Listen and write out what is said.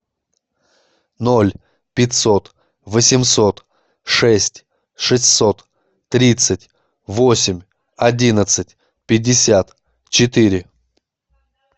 ноль пятьсот восемьсот шесть шестьсот тридцать восемь одиннадцать пятьдесят четыре